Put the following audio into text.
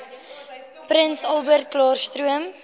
prins albertklaarstroom